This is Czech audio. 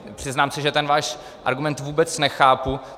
Přiznám se, že ten váš argument vůbec nechápu.